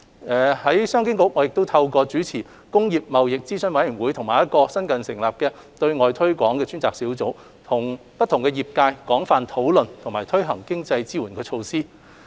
我亦透過主持工業貿易諮詢委員會，以及新成立的對外推廣專責小組，與不同業界廣泛商討及推行經濟支援措施。